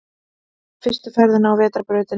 Í fyrstu ferðinni á vetrarbrautinni